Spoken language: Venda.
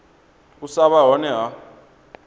u sa vha hone ha